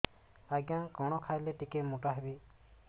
ଆଜ୍ଞା କଣ୍ ଖାଇଲେ ଟିକିଏ ମୋଟା ହେବି